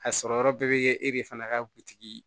A sɔrɔ yɔrɔ bɛɛ bɛ kɛ e de fana ka butigi ye